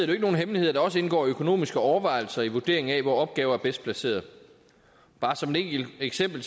jo ikke nogen hemmelighed at der også indgår økonomiske overvejelser i vurderingen af hvor opgaver er bedst placeret bare som et enkelt eksempel